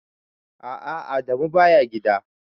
A'a Adamu baya gida.